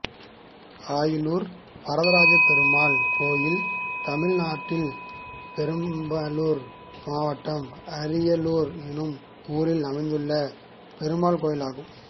அயிலுர் வரதராஜப்பெருமாள் கோயில் தமிழ்நாட்டில் பெரம்பலூர் மாவட்டம் அயிலுர் என்னும் ஊரில் அமைந்துள்ள பெருமாள் கோயிலாகும்